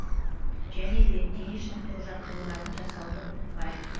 және де дене шынықтыру жаттығуларын жасауды ұмытпайық